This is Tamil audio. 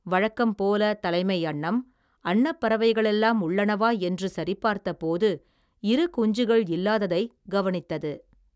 வழக்கம் போல தலைமை அன்னம், அன்னப்பறவைகளெல்லாம் உள்ளனவா, என்று சரிபார்த்தப்போது, இரு குஞ்சுகள் இல்லாததை கவனித்தது.